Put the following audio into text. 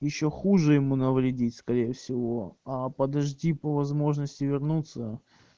ещё хуже ему навредить скорее всего а подожди по возможности вернуться